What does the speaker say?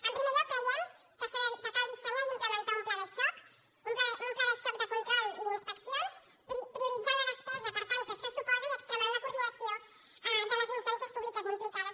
en primer lloc creiem que cal dissenyar i implemen·tar un pla de xoc un pla de xoc de control i d’inspec·cions prioritzant la despesa per tant que això suposa i extremant la coordinació de les instàncies públiques implicades